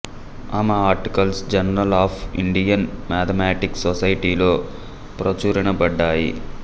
ఆమె articles journal of Indian mathematics society లో ప్రచురినబడ్డాయి